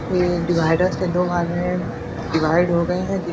ये डिवाइडर से दो भाग में डिवाइड हो गए हैं।